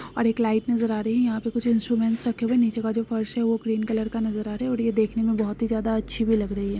एक लाइट नजर आ रही है यहाँ पर काफी सारे इंस्ट्रूमेंट रखे हुए हैं निचे का फर्श है क्रीम कलर का नज़र आ रहा है और देखने में बहुत ही ज्यादा अच्छी भी लग रही है।